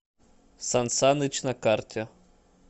сансаныч на карте